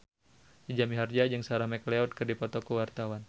Jaja Mihardja jeung Sarah McLeod keur dipoto ku wartawan